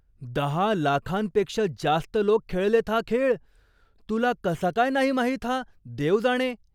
दहा लाखांपेक्षा जास्त लोक खेळलेत हा खेळ. तुला कसा काय नाही माहित हा देव जाणे?